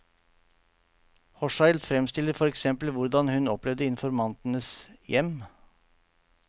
Hochschild fremstiller for eksempel hvordan hun opplevde informantenes hjem.